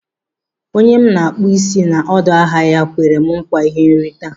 Onye m na-akpụ isi n'ọdọ ahịa ya kwere m nkwa ihe nrita.